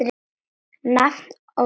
Nafn og staða?